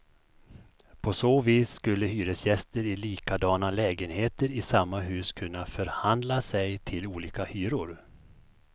På så vis skulle hyresgäster i likadana lägenheter i samma hus kunna förhandla sig till olika hyror.